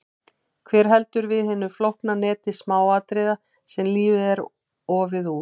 Hver heldur við hinu flókna neti smáatriða sem lífið er ofið úr?